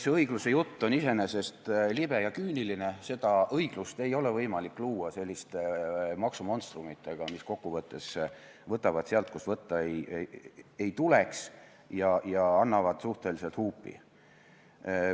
See õigluse jutt on iseenesest libe ja küüniline, õiglust ei ole võimalik luua selliste maksumonstrumitega, mis kokkuvõttes võtavad sealt, kust võtta ei tuleks, ja annavad suhteliselt huupi.